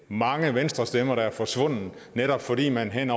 mange venstrestemmer der er forsvundet netop fordi man